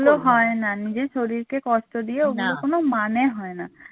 ওগুলো হয় না নিজের শরীরকে কষ্ট দিয়ে ওগুলোর কোনো মানে হয় না